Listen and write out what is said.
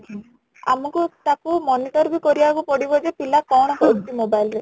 ଆମକୁ ତାକୁ monitor ବି କରିବାକୁ ପଡିବ ଯେ ପିଲା କ'ଣ କରୁଛି mobile ରେ